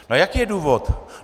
No a jaký je důvod?